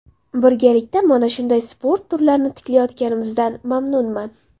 Birgalikda mana shunday sport turlarini tiklayotganimizdan mamnunman.